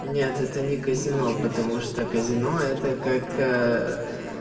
нет это не казино потому что казино это как